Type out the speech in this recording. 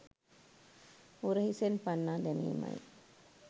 උරහිසෙන් පන්නා දැමීමයි.